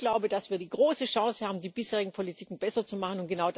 Ich glaube, dass wir die große Chance haben, die bisherigen Politiken besser zu machen.